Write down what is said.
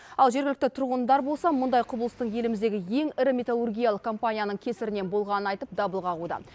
ал жергілікті тұрғындар болса мұндай құбылыстың еліміздегі ең ірі металлургиялық компанияның кесірінен болғанын айтып дабыл қағуда